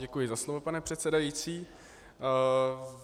Děkuji za slovo, pane předsedající.